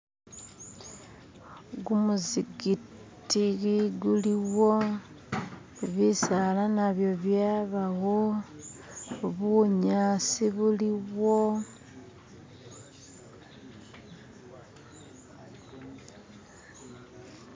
gumuzikiti guliwo bisaala nabyo byabawo bunyasi buliwo